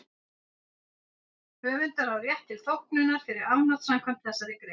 Höfundur á rétt til þóknunar fyrir afnot samkvæmt þessari grein.